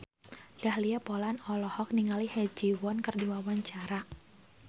Dahlia Poland olohok ningali Ha Ji Won keur diwawancara